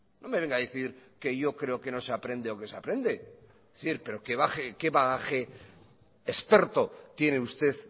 no ve venga a decir que yo creo que no se aprende o que se aprende es decir que bagaje experto tiene usted